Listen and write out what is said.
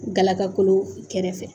Galaga kolo kɛrɛfɛ